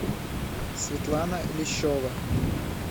светлана лещева